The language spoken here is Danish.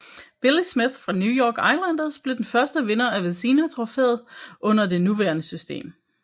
Billy Smith fra New York Islanders blev den første vinder af Vezina trofæet under det nuværende system